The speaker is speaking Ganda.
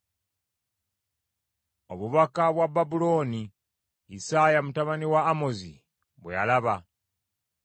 Obubaka bwa Babulooni Isaaya mutabani wa Amozi bwe yalaba.